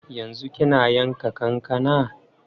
Yanzu kina yanka kankana?